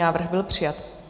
Návrh byl přijat.